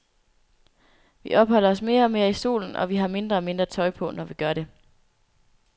Vi opholder os mere og mere i solen, og vi har mindre og mindre tøj på, når vi gør det.